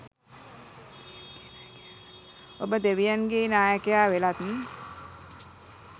ඔබ දෙවියන්ගේ නායකයා වෙලත්